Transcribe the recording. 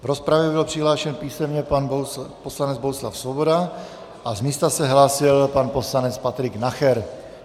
V rozpravě byl přihlášen písemně pan poslanec Bohuslav Svoboda a z místa se hlásil pan poslanec Patrik Nacher.